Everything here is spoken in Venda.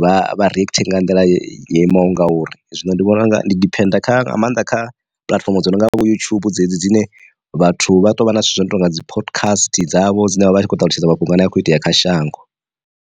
vha vha react nga nḓila ye yo imaho ngauri. Zwino ndi vhona unga ndi diphenda kha nga maanḓa kha puḽatifomo dzi no nga vho yutshubu dzedzi dzine vhathu vha tou vha na zwithu zwo no tonga dzi podcast dzavho dzine vha vha tshi khou ṱalutshedza mafhungo a ne a khou itea kha shango.